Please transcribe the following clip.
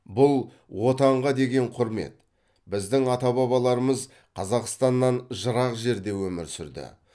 бұл отанға деген құрмет біздің ата бабаларымыз қазақстаннан жырақ жерде өмір сүрді